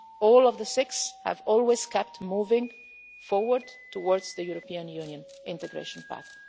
All of the six have always kept moving forward towards the European Union integration path.